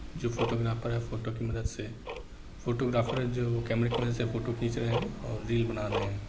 जो फोटोग्राफर है फोटो के मदद से फोटोग्राफर है जो कैमरा की मदद से फोटो खींच रहे है और रील बना रहे हैं।